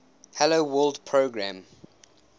hello world program